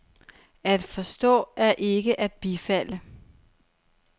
At forstå er ikke at bifalde.